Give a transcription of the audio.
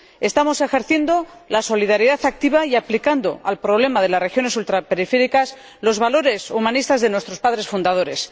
Estamos ejerciendo la solidaridad activa y aplicando al problema de las regiones ultraperiféricas los valores humanistas de nuestros padres fundadores.